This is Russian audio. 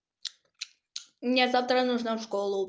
мне завтра нужно в школу